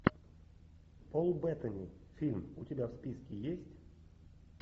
пол беттани фильм у тебя в списке есть